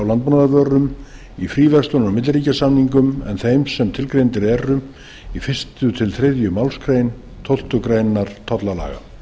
landbúnaðarvörum í fríverslunar og milliríkjasamningum en þeim sem tilgreindar eru í fyrsta til þriðju málsgrein tólftu greinar tollalaga